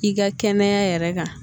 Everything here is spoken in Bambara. I ka kɛnɛya yɛrɛ kan